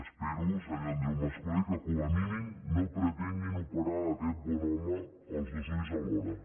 espero senyor andreu mas colell que com a mínim no pretenguin operar aquest bon home els dos ulls alhora